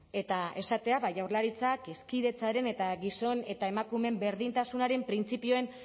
eta esatea jaurlaritzak hezkidetzaren eta gizon eta emakumeen berdintasunaren printzipioen